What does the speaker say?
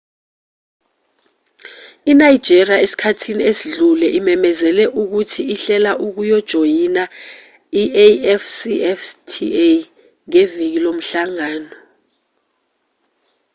inigeria esikhathini esidlule imemezele ukuthi ihlela ukujoyina i-afcfta ngeviki lomhlangano